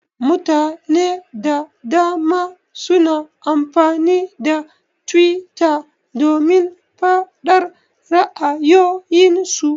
Mutane da dama suna amfani da twitter domin faɗar ra'ayoyin su.